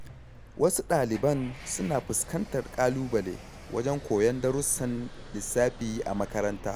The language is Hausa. Wasu ɗaliban suna fuskantar ƙalubale wajen koyon darussan lissafi a makaranta.